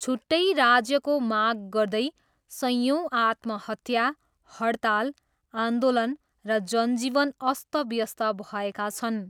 छुट्टै राज्यको माग गर्दै सयौँ आत्महत्या, हडताल, आन्दोलन र जनजीवन अस्तव्यस्त भएका छन्।